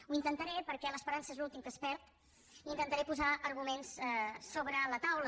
ho intentaré perquè l’esperança és l’últim que es perd i intentaré posar arguments sobre la taula